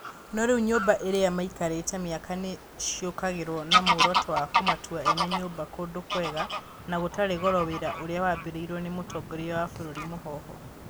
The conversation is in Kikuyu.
No rĩu nyũmba iria maikarĩte mĩaka nĩ cikũagĩrio na muoroto wa kumatua ene nyũmba kũndũ kwega na gũtarĩ goro wĩra ũrĩa wambĩrĩirio nĩ mũtongoria wa bũrũri Mũhoho.